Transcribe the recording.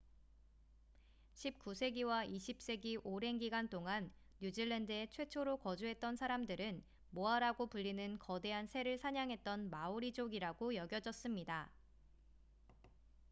19세기와 20세기 오랜 기간 동안 뉴질랜드에 최초로 거주했던 사람들은 모아라고 불리는 거대한 새를 사냥했던 마오리족이라고 여겨졌습니다